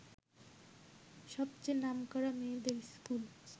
সবচেয়ে নামকরা মেয়েদের ইস্কুল